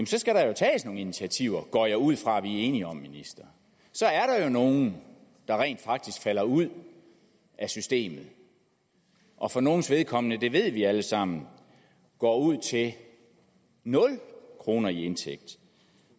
så skal der tages nogle initiativer det går jeg ud fra vi er enige om ministeren så er der jo nogle der rent faktisk falder ud af systemet og for nogles vedkommende det ved vi alle sammen går ud til nul kroner i indtægt